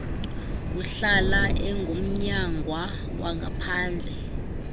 uhlala engumnyangwa wangaphandle